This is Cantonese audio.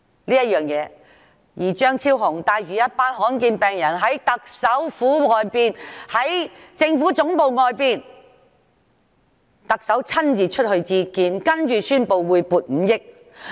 張議員帶領一群罕見病患者在政府總部外請願，特首親自出來接見，接着宣布撥出5億元。